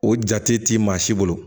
O jate ti maa si bolo